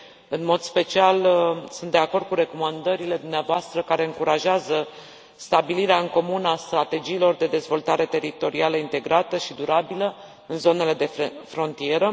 În mod special, sunt de acord cu recomandările dumneavoastră care încurajează stabilirea în comun a strategiilor de dezvoltare teritorială integrată și durabilă în zonele de frontieră.